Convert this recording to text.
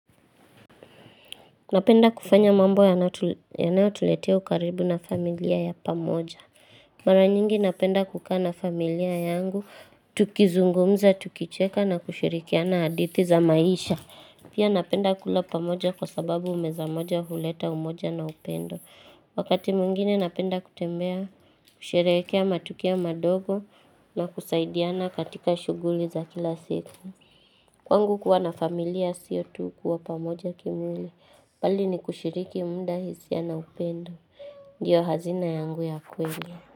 Napenda kufanya mambo yanayotuletea ukaribu na familia ya pamoja. Mara nyingi napenda kukaa na familia yangu, tukizungumza, tukicheka na kushirikiana hadithi za maisha. Pia napenda kula pamoja kwa sababu meza moja huleta umoja na upendo. Wakati mwingine napenda kutembea, kusherehekea matukoa madogo na kusaidiana katika shuguli za kila siku. Kwangu kuwa na familia sio tu kuwa pamoja kimwili bali ni kushiriki muda hisia na upendo. Ndio hazina yangu ya kweli.